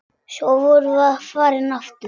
Svo vorum við farin aftur.